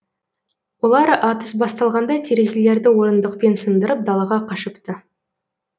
олар атыс басталғанда терезелерді орындықпен сындырып далаға қашыпты